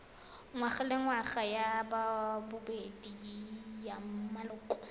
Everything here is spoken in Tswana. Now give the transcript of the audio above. ngwagalengwaga ya bobedi ya maloko